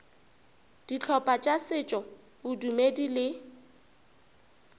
dihlopha tša setšo bodumedi le